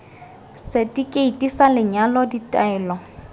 seti keiti sa lenyalo ditaelo